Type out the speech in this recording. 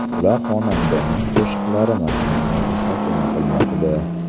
Ular xonandaning qo‘shiqlari matnini muhokama qilmoqda.